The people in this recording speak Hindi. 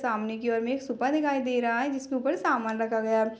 सामने की ओर में एक सूपा दिखाई दे रहा है जिसके ऊपर सामान रखा गया है।